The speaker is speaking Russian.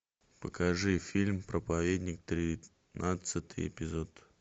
покажи фильм проповедник тринадцатый эпизод